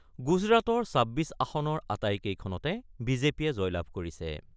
গুজৰাটৰ ২৬ আসনৰ আটাইকেইখনতে বিজেপিয়ে জয়লাভ কৰিছে।